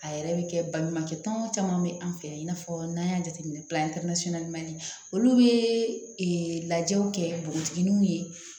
A yɛrɛ bɛ kɛ baɲumankɛ tɔnw caman bɛ an fɛ yen i n'a fɔ n'an y'a jateminɛ olu bɛ lajɛw kɛ npogotigininw ye